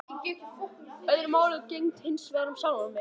Öðru máli gegndi hinsvegar um sjálfan mig.